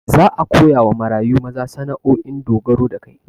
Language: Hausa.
Za a koyawa marayu maza sana'o'in dogaro da kai